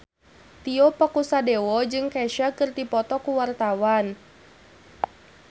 Tio Pakusadewo jeung Kesha keur dipoto ku wartawan